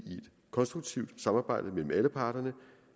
konstruktivt samarbejde mellem alle parterne